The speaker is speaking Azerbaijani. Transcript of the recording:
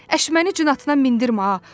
Əş məni cinatına mindirmə ha.